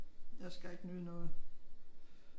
Jeg skal ikke nyde noget